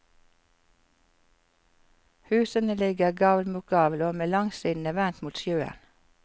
Husene ligger gavl mot gavl og med langsidene vendt mot sjøen.